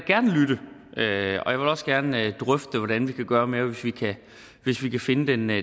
også gerne drøfte hvordan vi kan gøre mere hvis vi kan finde den